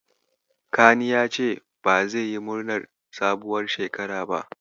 Kani ya ce ba zai yi murnar sabuwar shekara ba.